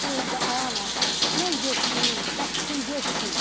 Deyirdi ay ana, mən getməyim, bəs kim getsin?